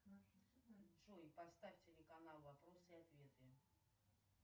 джой поставь телеканал вопросы и ответы